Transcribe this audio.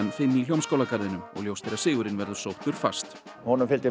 fimm í Hljómskálagarðinum og ljóst er að sigurinn verður sóttur fast honum fylgir